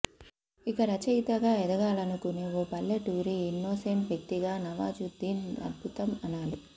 ఇక రచయితగా ఎదగాలనుకునే ఓ పల్లెటూరి ఇన్నోసెంట్ వ్యక్తిగా నవాజుద్దీన్ అద్భుతం అనాలి